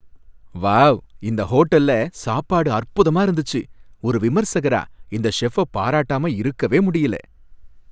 Wow! இந்த ஹோட்டல்ல சாப்பாடு அற்புதமா இருந்துச்சு. ஒரு விமர்சகரா இந்த செஃப்ப பாராட்டாம இருக்கவே முடியல.